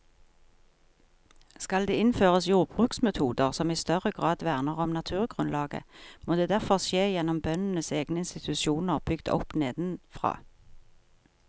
Skal det innføres jordbruksmetoder som i større grad verner om naturgrunnlaget, må det derfor skje gjennom bøndenes egne institusjoner bygd opp nedenfra.